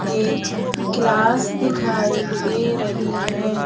एक क्लास दिखाई दे रही है।